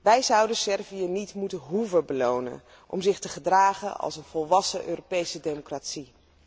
Wij zouden Servië niet moeten hoeven belonen om zich te gedragen als een volwassen Europese democratie.